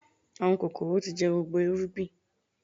Àwọn kòkòrò tí jẹ gbogbo irúgbìn